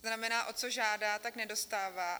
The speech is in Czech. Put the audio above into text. To znamená, o co žádá, tak nedostává.